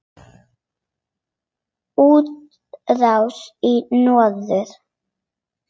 Útrás í norður